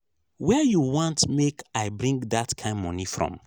where you want make i bring dat kin money from?